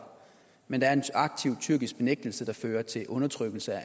men der er en aktiv tyrkisk benægtelse der fører til undertrykkelse af